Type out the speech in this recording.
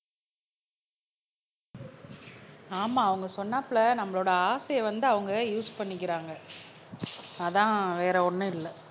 ஆமா அவங்க சொன்னாப்ல நம்மளோட ஆசையை வந்து அவங்க யூஸ் பண்ணிக்கிறாங்க அதான் வேற ஒண்ணும் இல்லை